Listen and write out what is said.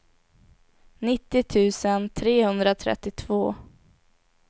nittio tusen trehundratrettiotvå